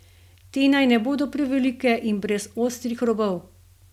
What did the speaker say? Te naj ne bodo prevelike in brez ostrih robov.